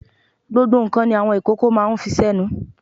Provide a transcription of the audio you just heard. Gbogbo ǹkan ni àwọn ìkókó máa ń fi sẹ́nu.